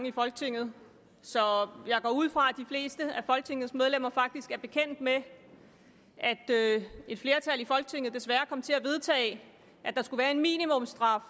i folketinget så jeg går ud fra at de fleste af folketingets medlemmer faktisk er bekendt med at et flertal i folketinget desværre kom til at vedtage at der skulle være en minimumsstraf